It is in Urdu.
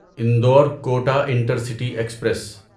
Indore Kota intercity express